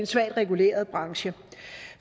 svagt reguleret branche